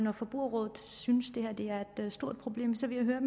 at forbrugerrådet synes at det her er et stort problem så vil jeg